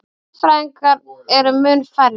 Hagfræðingar eru mun færri.